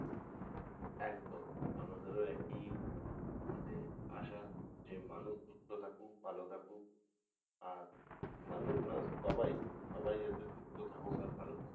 একদম আমাদেরও একই মানে আশা যে মানুষ সুস্থ থাকুক ভালো থাকুক আর মানুষ না সবাই সবাই সুস্থ থাকুক আর ভালো থাকুক